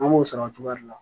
An b'o sara o cogoya de la